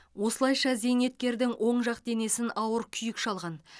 осылайша зейнеткердің оң жақ денесін ауыр күйік шалған